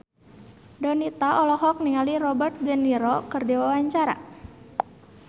Donita olohok ningali Robert de Niro keur diwawancara